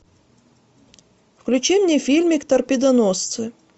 включи мне фильмик торпедоносцы